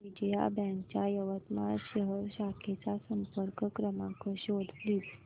Vijaya bank च्या यवतमाळ शहर शाखेचा संपर्क क्रमांक शोध प्लीज